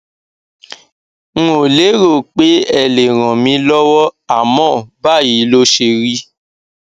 n ò lérò pé ẹ lè ràn mí lọwọ àmọ báyìí ló ṣérí